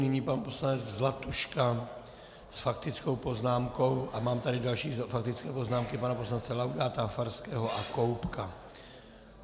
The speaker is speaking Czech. Nyní pan poslanec Zlatuška s faktickou poznámkou a mám tady další faktické poznámky pana poslance Laudáta, Farského a Koubka.